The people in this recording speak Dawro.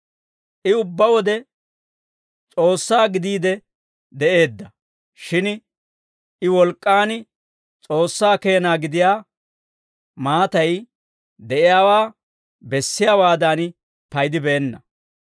I ubbaa wode S'oossaa gidiide de'eedda; shin I wolk'k'aan S'oossaa keena gidiyaa maatay de'iyaawaa bessiyaawaadan paydibeenna.